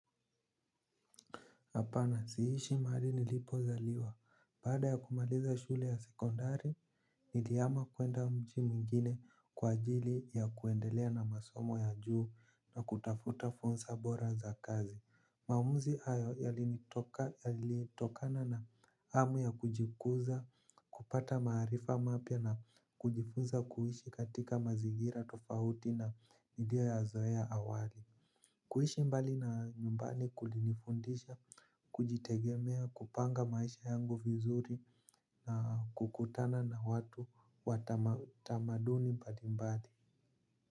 Hapana, si ishi mahali nilipozaliwa. Baada ya kumaliza shule ya sekondari, nilihama kuenda mji mingine kwa ajili ya kuendelea na masomo ya juu na kutafuta fursa bora za kazi. Maamuzi ahyo yalitokana na hamu ya kujikuza kupata maarifa mapya na kujifunza kuishi katika mazingira tofauti na nilio yazoea awali. Kuishi mbali na nyumbani kuli nifundisha, kujitegemea, kupanga maisha yangu vizuri na kukutana na watu wa tamaduni mbalimbali.